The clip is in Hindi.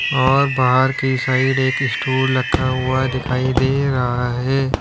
और बाहर के साइड एक स्टूल रखा हुआ दिखाई दे रहा है।